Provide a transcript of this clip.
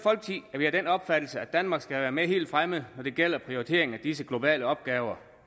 er vi af den opfattelse at danmark skal være med helt fremme når det gælder prioritering af disse globale opgaver